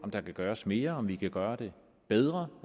om der kan gøres mere og om vi kan gøre det bedre